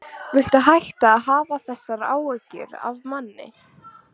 Viltu hætta að hafa þessar áhyggjur af manni!